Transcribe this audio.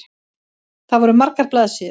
Það voru margar blaðsíður.